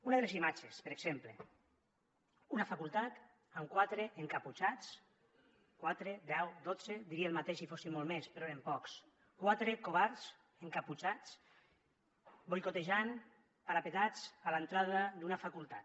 una de les imatges per exemple una facultat amb quatre encaputxats quatre deu dotze diria el mateix si fossin molts més però eren pocs quatre covards encaputxats boicotejant parapetats a l’entrada d’una facultat